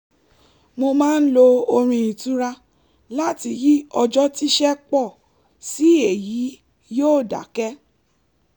mo máa ń lo orin ìtura láti yí ọjọ́ tíṣẹ́ pọ̀ sí èyí yóó dákẹ́